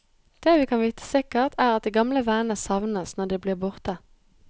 Det vi kan vite sikkert, er at de gamle vennene savnes når de blir borte.